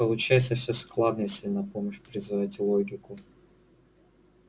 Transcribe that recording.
получается всё складно если на помощь призвать логику